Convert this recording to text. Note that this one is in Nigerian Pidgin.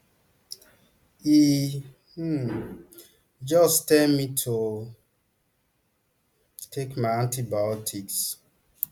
e um just tell me to take my antibiotics